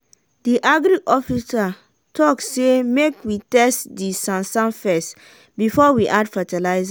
de agric officer talk say make we test de sansan fess before we add fertilizer.